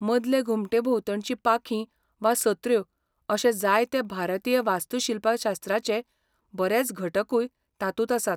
मदले घुमटे भोवतणचीं पाखीं वा सत्र्यो अशे जायते भारतीय वास्तूशिल्पशास्त्राचे बरेच घटकूय तातूंत आसात.